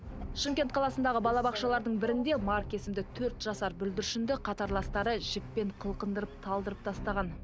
шымкент қаласындағы бала бақшалардың бірінде марк есімді төрт жасар бүлдіршінді қатарластары жіппен қылқындырып талдырып тастаған